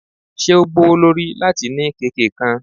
Ṣe o gbowolori lati ni keke kan?